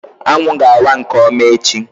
Anwụ ga-awa nke ọma echi